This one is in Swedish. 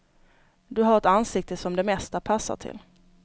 Du har ett ansikte som det mesta passar till.